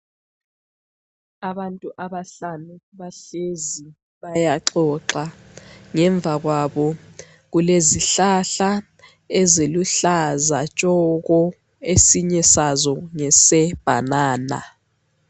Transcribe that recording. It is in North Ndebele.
Abantu abahlanu, bahlezi bayaxoxa. Ngemva kwabo kulezihlahla eziluhlaza tshoko. Esinye sazo ngesebhanana.